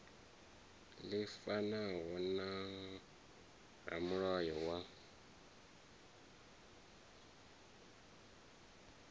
ḽi fanaho na ramulayo wa